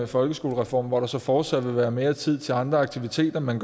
folkeskolereformen så der fortsat vil være mere tid til andre aktiviteter men